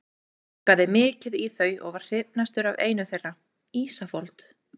Ég gluggaði mikið í þau og var hrifnastur af einu þeirra, Ísafold.